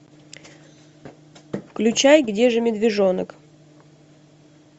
включай где же медвежонок